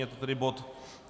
Je to tedy bod